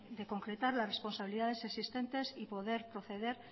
de concretar las responsabilidades existentes y poder proceder